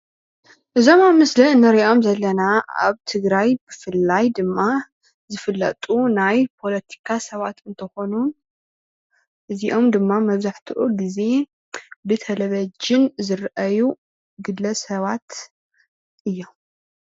እዞም ኣብ ምስሊ ንሪኦም ዘለና ኣብ ትግራይ ብፍላይ ድማ ዝፍለጡ ናይ ፖለቲካ ሰባት እንትኮኑ እዚኦም ድማ መብዛሕትኡ ግዜ ብተልቭዥን ዝረኣዩ ግለሰባት እዮም።